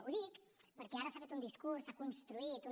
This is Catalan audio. ho dic perquè ara s’ha fet un discurs s’ha construït una